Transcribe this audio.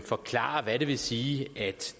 forklare hvad det vil sige at